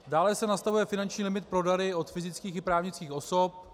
Dále se nastavuje finanční limit pro dary od fyzických i právnických osob.